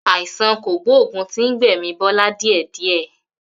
Àìsàn kògbógùn tí ń gbẹ̀mi Bọlá díẹ̀ díẹ̀.